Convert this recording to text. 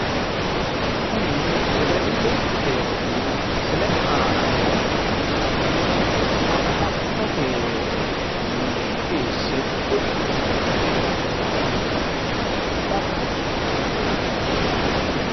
kuni wedellichu beetti misilete aana noohu amma'note mine.